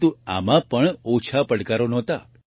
પરંતુ આમાં પણ ઓછા પડકારો ન હતા